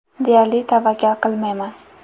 Deyarli tavakkal qilmayman.